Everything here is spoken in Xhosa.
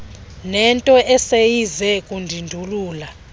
nento eseyize kundindulula